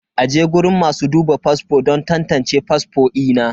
aje guriun masu duba fasfo don tantance fasfo ina.